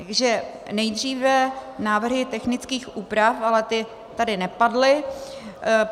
Takže nejdříve návrhy technických úprav, ale ty tady nepadly.